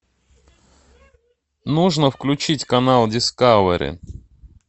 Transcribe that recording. нужно включить канал дискавери